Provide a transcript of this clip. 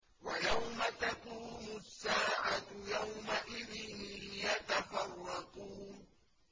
وَيَوْمَ تَقُومُ السَّاعَةُ يَوْمَئِذٍ يَتَفَرَّقُونَ